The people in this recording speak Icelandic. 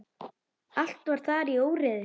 Allt var þar í óreiðu.